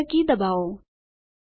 Enter key દબાવો